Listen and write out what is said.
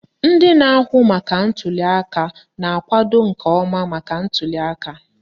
Ndị na-ahụ maka ntuliaka na-akwado nke ọma maka ntuliaka.